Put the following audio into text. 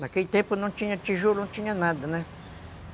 Naquele tempo não tinha tijolo, não tinha nada, né?